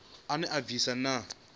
ine ya bvisa na u